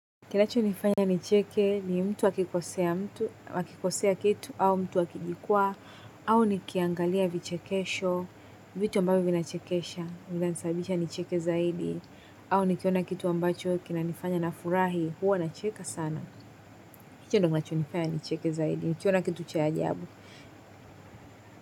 Kinachonifanya nicheke ni mtu akikosea mtu wakikosea kitu au mtu akijikwa au nikiangalia vichekesho, vitu ambavyo vinachekesha vinanisabisha nicheke zaidi au nikiona kitu ambacho kinanifanya na furahi huwa nacheka sana. Hicho ndio kinachonifanya nicheke zaidi nikiona kitu cha ajabu.